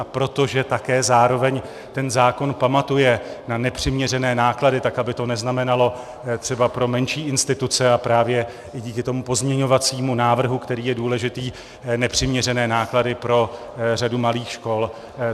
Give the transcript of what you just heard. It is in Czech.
A protože také zároveň ten zákon pamatuje na nepřiměřené náklady, tak aby to neznamenalo třeba pro menší instituce, a právě i díky tomu pozměňovacímu návrhu, který je důležitý, nepřiměřené náklady pro řadu malých škol.